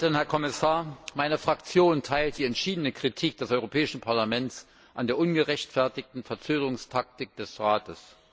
Frau Präsidentin, Herr Kommissar! Meine Fraktion teilt die entschiedene Kritik des Europäischen Parlaments an der ungerechtfertigten Verzögerungstaktik des Rates.